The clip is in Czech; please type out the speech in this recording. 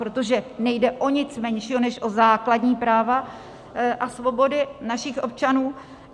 Protože nejde o nic menšího než o základní práva a svobody našich občanů.